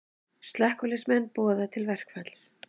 Slökkviliðsmenn boða til verkfalls